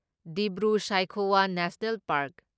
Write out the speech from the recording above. Dibru Saikhowa national park